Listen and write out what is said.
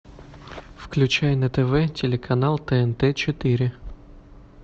включай на тв телеканал тнт четыре